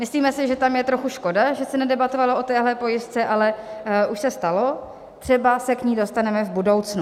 Myslíme si, že tam je trochu škoda, že se nedebatovalo o téhle pojistce, ale už se stalo, třeba se k ní dostaneme v budoucnu.